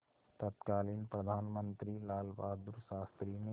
तत्कालीन प्रधानमंत्री लालबहादुर शास्त्री ने